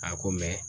A ko